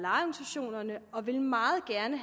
meget gerne